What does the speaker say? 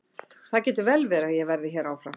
Það getur vel verið að ég verði hér áfram.